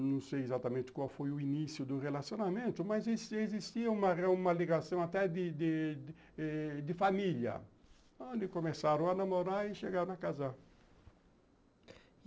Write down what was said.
Não sei exatamente qual foi o início do relacionamento, mas existia existia uma ligação até de de família, onde começaram a namorar e chegaram a casar.